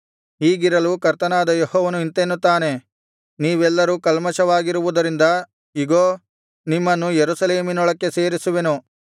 ಹೀಗಿರಲು ಕರ್ತನಾದ ಯೆಹೋವನು ಇಂತೆನ್ನುತ್ತಾನೆ ನೀವೆಲ್ಲರು ಕಲ್ಮಷವಾಗಿರುವುದರಿಂದ ಇಗೋ ನಿಮ್ಮನ್ನು ಯೆರೂಸಲೇಮಿನೊಳಕ್ಕೆ ಸೇರಿಸುವೆನು